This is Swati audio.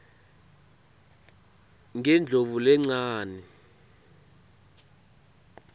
ngendlovulencane